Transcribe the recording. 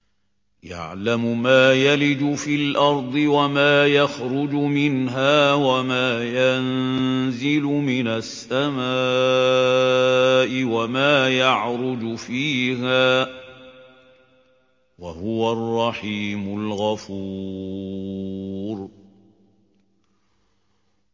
يَعْلَمُ مَا يَلِجُ فِي الْأَرْضِ وَمَا يَخْرُجُ مِنْهَا وَمَا يَنزِلُ مِنَ السَّمَاءِ وَمَا يَعْرُجُ فِيهَا ۚ وَهُوَ الرَّحِيمُ الْغَفُورُ